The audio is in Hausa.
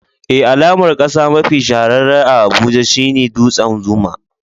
Eh, alamar kasa mafi shahararre a Abuja shine dutsen Zuma.